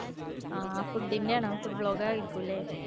ആ food ന്‍റെയാണോ? food blog ആയിരിക്കും ഇല്ലേ?